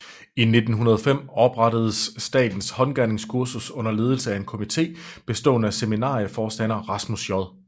I 1905 oprettedes Statens Haandgerningskursus under ledelse af en komité bestående af seminarieforstander Rasmus J